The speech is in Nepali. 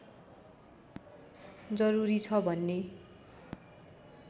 जरुरी छ भन्ने